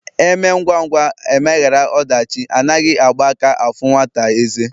Emee ngwa ngwa emeghara odachi Anaghi Agba aka afu nwata eze